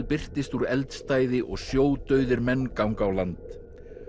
birtist úr eldstæði og menn ganga á land